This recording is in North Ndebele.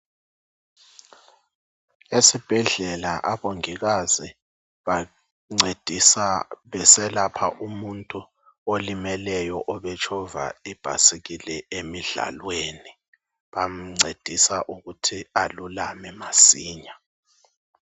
Esibhedlela abongikazi bancedisa besepha umuntu olimeleyo obetshova ibhayisikili emidlalweni. Bamcedisa ukuthi alulame masinya.